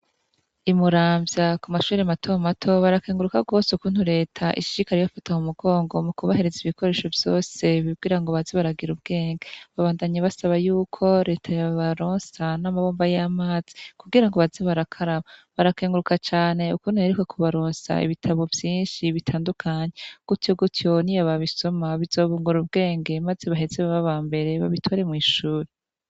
Imuramvya kumashure mato mato barakenguruka gose ukuntu reta ishishikara ibafata mumugongo mukubahereza ibikoresho vyose mukugira baze baragira ubwenge babandanya basaba yuko reta yobaronsa namabombo yamazi kugirango baze barakaraba barakenguruka cane ukuntu yaheruka kubaronsa ibitabo vyinshi bitandukanye gutyo gutyo niyo babisoma bizobungura ubwenge maze baheze babe abambere babitore mwishure